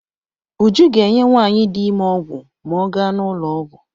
Uju ga-enye nwaanyị di ime ọgwụ ma ọ ga n'ụlọọgwụ.